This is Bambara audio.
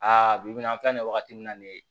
Aa bi bi in na an filɛ nin wagati min na nin ye